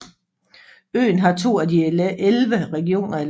Øen har to af de elleve regioner i landet